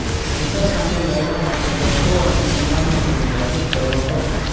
cancer સામે લડવા માટે લોકો અને સમાજને પણ જાગૃત કરવા પડશે